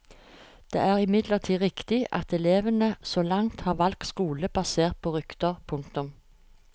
Det er imidlertid riktig at elevene så langt har valgt skole basert på rykter. punktum